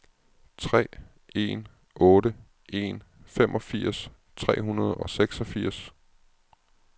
tre en otte en femogfirs tre hundrede og seksogfirs